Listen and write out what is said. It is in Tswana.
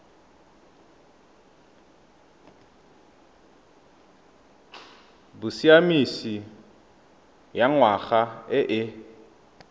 bosiamisi ya ngwana e e